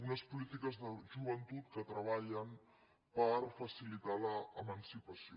unes polítiques de joventut que treballen per facilitar l’emancipació